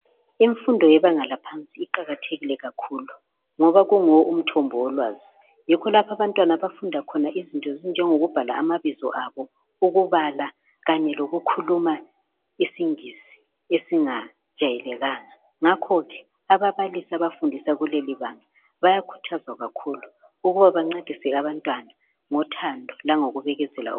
Imfundo yebanga laphansi iqakathekile kakhulu ngoba kunguwo umthombo wolwazi. Yikho lapho abantwana abafunda khona izinto ezinjengokubhala amabizo abo, ukubala kanye lokukhuluma isingisi esingajayekelanga ngakho ke ababalisi abafundisa kuleli banga bayakhuthazwa kakhulu ukuba bencedise abantwana ngothando langokubekezela .